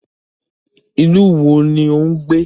Ìlú wo ni ò ń gbé?